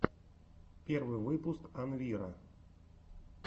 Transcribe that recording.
первый выпуск анвира